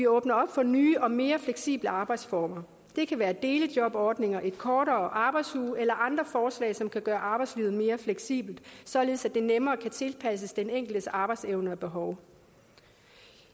åbner op for nye og mere fleksible arbejdsformer det kan være delejobordninger en kortere arbejdsuge eller andre forslag som kan gøre arbejdslivet mere fleksibelt således at det nemmere kan tilpasses den enkeltes arbejdsevne og behov